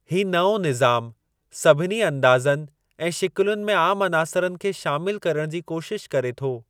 ही नओं निज़ामु सभिनी अंदाज़नि ऐं शिकिलुनि में आमु अनासरनि खे शामिलु करण जी कोशिश करे थो।